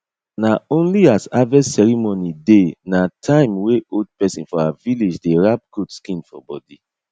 na only as harvest ceremony dey na time wey old pesin for our village dey wrap goat skin for body